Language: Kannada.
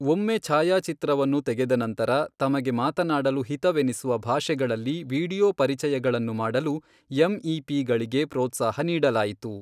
ಒಮ್ಮೆ ಛಾಯಾಚಿತ್ರವನ್ನು ತೆಗೆದ ನಂತರ, ತಮಗೆ ಮಾತನಾಡಲು ಹಿತವೆನಿಸುವ ಭಾಷೆಗಳಲ್ಲಿ ವೀಡಿಯೊ ಪರಿಚಯಗಳನ್ನು ಮಾಡಲು ಎಮ್ ಇ ಪಿ ಗಳಿಗೆ ಪ್ರೋತ್ಸಾಹ ನೀಡಲಾಯಿತು.